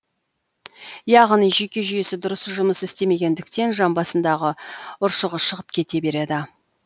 яғни жүйке жүйесі дұрыс жұмыс істемегендіктен жамбасындағы ұршығы шығып кете береді